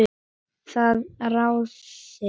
Þið ráðið.